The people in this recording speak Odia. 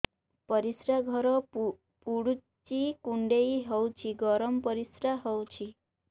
ପରିସ୍ରା ଘର ପୁଡୁଚି କୁଣ୍ଡେଇ ହଉଚି ଗରମ ପରିସ୍ରା ହଉଚି